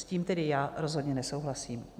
S tím tedy já rozhodně nesouhlasím.